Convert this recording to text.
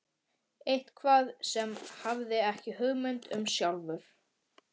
Eitthvað sem hann hafði ekki hugmynd um sjálfur.